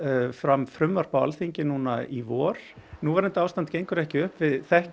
fram frumvarp á Alþingi núna í vor núverandi ástand gengur ekki upp við þekkjum